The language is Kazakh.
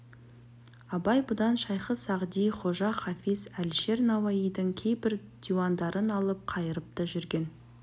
абай бұдан шайхы-сағди хожа хафиз әлішер науаидың кейбір диуандарын алып қайырып та жүретін